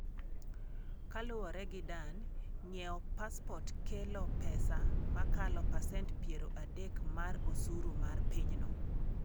Kaluwore gi Dan, ng’iewo pasport kelo pesa mokalo pasent piero adek mar osuru mar pinyno.